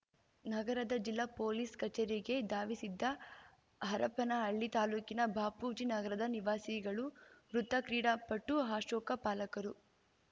ನಗರದ ಜಿಲ್ಲಾ ಪೊಲೀಸ್‌ ಕಚೇರಿಗೆ ಧಾವಿಸಿದ್ದ ಹರಪನಹಳ್ಳಿ ತಾಲೂಕಿನ ಬಾಪೂಜಿ ನಗರದ ನಿವಾಸಿಗಳು ಮೃತ ಕ್ರೀಡಾಪಟು ಅಶೋಕ ಪಾಲಕರು